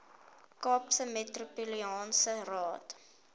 kaapse metropolitaanse raad